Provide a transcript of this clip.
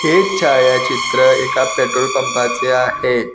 हे छायाचित्र एका पेट्रोल पंपाचे आहे.